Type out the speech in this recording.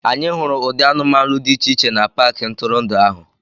Anyị hụrụ ụdị anụmanụ dị iche iche na paaki ntụrụndụ ahụ.